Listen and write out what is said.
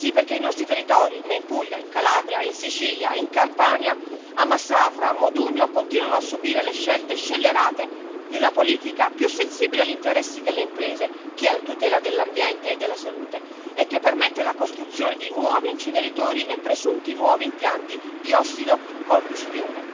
Sì, perché i nostri territori, come in Puglia, in Calabria, in Sicilia, in Campania, a Massafra, a Modugno, continuano a subire le scelte scellerate di una politica più sensibile agli interessi delle imprese che alla tutela dell'ambiente e della salute e che permette la costruzione di nuovi inceneritori e presunti nuovi impianti di ossidocombustione.